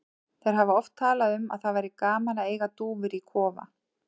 Þeir hafa oft talað um að það væri gaman að eiga dúfur í kofa.